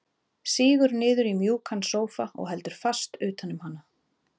Sígur niður í mjúkan sófa og heldur fast utan um hana.